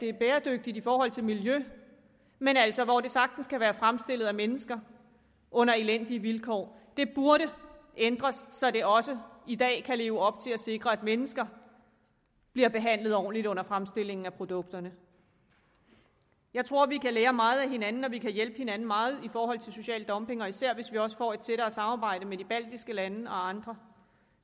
er bæredygtige i forhold til miljøet men altså sagtens kan være fremstillet af mennesker under elendige vilkår det burde ændres så det også i dag kan leve op til at sikre at mennesker bliver behandlet ordentligt under fremstillingen af produkterne jeg tror vi kan lære meget af hinanden og at vi kan hjælpe hinanden meget i forhold til social dumping især hvis vi også får et tættere samarbejde med de baltiske lande og andre